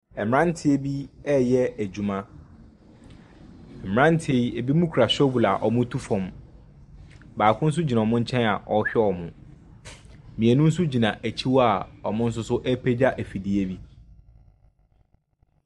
Mmaeranteɛ bi reyɛ adwuma. Mmeranteɛ yi, ebinom kura shovel a wɔretu fam. Baako nso gyina wɔn nkyɛn a ɔrehwɛ wɔn. Mmienu nso gyina akyi hɔ a wɔn nso so repagya afidie bi.